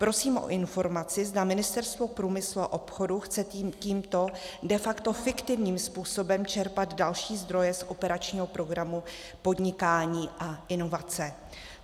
Prosím o informaci, zda Ministerstvo průmyslu a obchodu chce tímto de facto fiktivním způsobem čerpat další zdroje z operačního programu Podnikání a inovace.